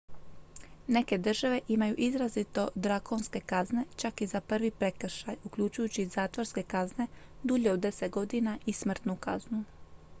neke države imaju izrazito drakonske kazne čak i za prvi prekršaj uključujući zatvorske kazne dulje od 10 godina i smrtnu kaznu